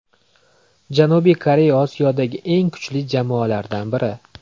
Janubiy Koreya Osiyodagi eng kuchli jamoalardan biri.